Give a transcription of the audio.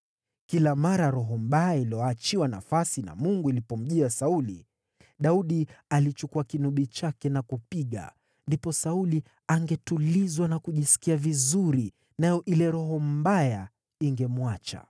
Kila mara roho mbaya iliyoachiwa nafasi na Mungu ilipomjia Sauli, Daudi alichukua kinubi chake na kupiga. Ndipo Sauli angetulizwa na kujisikia vizuri, nayo ile roho mbaya ingemwacha.